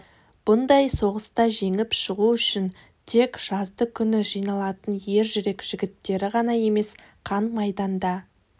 бұндай соғыста жеңіп шығу үшін тек жазды күні жиналатын ер жүрек жігіттері ғана емес қан майданда